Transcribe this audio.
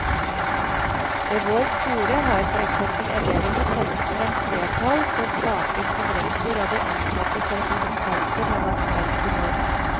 Ved vår skole har for eksempel elevene kjempet frem flertall for saker som rektor og de ansattes representanter har vært sterkt imot.